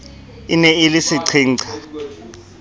e ne e le seqhenqha